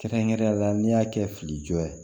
Kɛrɛnkɛrɛnnenya la n'i y'a kɛ fili jɔ ye